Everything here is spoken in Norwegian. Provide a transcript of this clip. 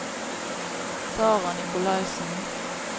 Sarah Nicolaisen